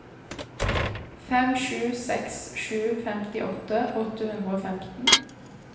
fem sju seks sju femtiåtte åtte hundre og femten